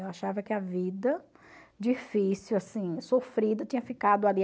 Eu achava que a vida difícil, assim, sofrida, tinha ficado ali.